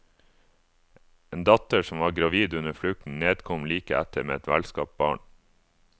En datter som var gravid under flukten, nedkom like etter med et velskapt barn.